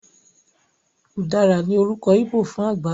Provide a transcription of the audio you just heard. Ùdára ní orúkọ íbò fún àgbálùmọ́